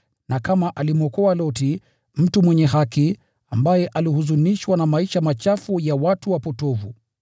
na kama alimwokoa Loti, mtu mwenye haki, ambaye alihuzunishwa na maisha machafu ya watu wapotovu